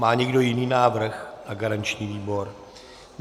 Má někdo jiný návrh na garanční výbor?